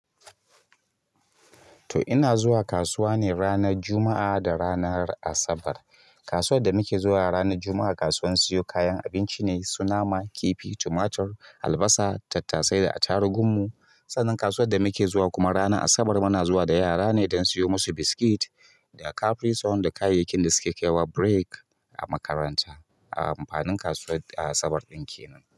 To ina zuwa kasuwa ne ranar Juma'a da ranar Asabar. Kasuwar da muke zuwa ranar Juma'a, kasuwar siyo kayan abinci ne, su nama, kifi, tumatur, albasa, tattasai da atarugun mu. Sannan kasuwar da muke zuwa kuma ranar Asabar muna zuwa da yara ne don siyo musu biskit da caprisone da kayayyakin da suke kaiwa break a makaranta a amfanin kasuwar Asabar ɗin kenan.